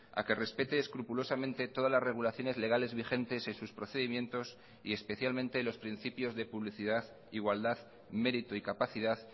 a que respete escrupulosamente todas las regulaciones legales vigentes en sus procedimientos y especialmente los principios de publicidad igualdad mérito y capacidad